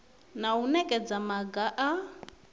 na u nekedza maga a